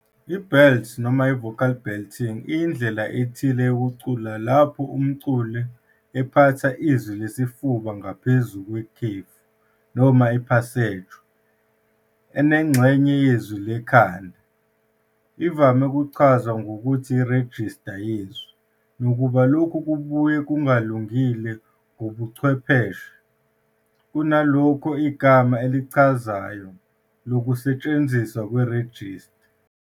I-Belt, noma i-vocal belting, iyindlela ethile yokucula lapho umculi ephatha izwi lesifuba ngaphezu kwekhefu noma i-passaggio enengxenye yezwi lekhanda. Ivame ukuchazwa ngokuthi irejista yezwi, nakuba lokhu kubuye kungalungile ngokobuchwepheshe, kunalokho igama elichazayo lokusetshenziswa kwerejista.